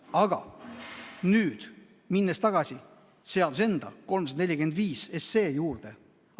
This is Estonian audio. Aga nüüd lähen tagasi seaduse enda, eelnõu 345 juurde.